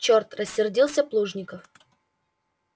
черт рассердился плужников